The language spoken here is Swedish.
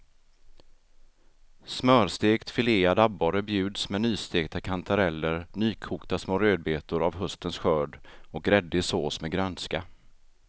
Smörstekt filead abborre bjuds med nystekta kantareller, nykokta små rödbetor av höstens skörd och gräddig sås med grönska.